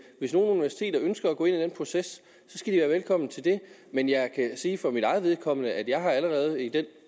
hvis nogle universiteter ønsker at gå ind i den proces skal de være velkomne til det men jeg kan sige for mit eget vedkommende at jeg allerede i den